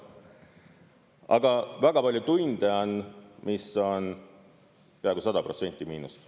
Aga väga palju tunde on, kus on peaaegu 100% miinust.